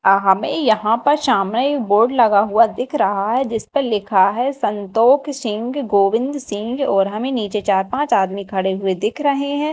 आ हमें यहां पर सामने बोर्ड लगा हुआ दिख रहा है जिस पे लिखा है संतोक सिंग गोविंद सिंग और हमें नीचे चार पांच आदमी खड़े हुए दिख रहे हैं।